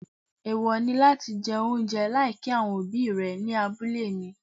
Èèwọ̀ ni láti jẹ oúnjẹ láì kí àwọn òbí rẹ ní abúlé mi.